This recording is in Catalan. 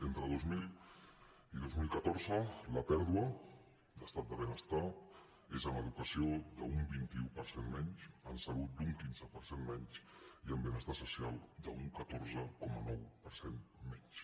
entre dos mil i dos mil catorze la pèrdua d’estat de benestar és en educació d’un vint un per cent menys en salut d’un quinze per cent menys i en benestar social d’un catorze coma nou per cent menys